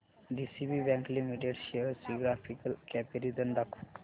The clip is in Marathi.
डीसीबी बँक लिमिटेड शेअर्स चे ग्राफिकल कंपॅरिझन दाखव